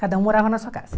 Cada um morava na sua casa.